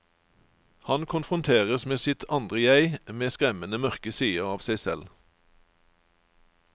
Han konfronteres med sitt andre jeg, med skremmende mørke sider av seg selv.